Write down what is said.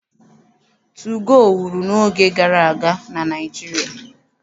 Tugoo wuru n'oge gara aga na Naịjirịa.